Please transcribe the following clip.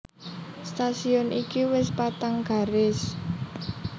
Stasiun iki wis patang garis